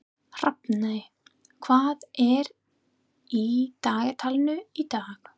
Hrafney, hvað er í dagatalinu í dag?